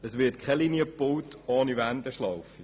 Denn es wird keine Linie gebaut ohne eine Wendeschlaufe.